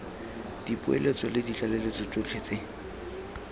dipoeletso le ditlaleletso tsotlhe tse